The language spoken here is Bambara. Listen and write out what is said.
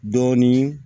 Dɔɔnin